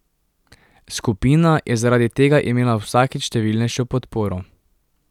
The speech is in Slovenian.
Skupina je zaradi tega imela vsakič številnejšo podporo.